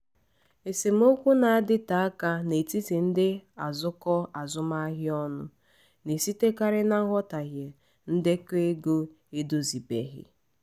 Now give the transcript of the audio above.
esemokwu na-adịte aka n'etiti ndị azụkọ azụmahịa ọnụ na-esitekarị na nghọtahie ndekọ ego edozibeghị.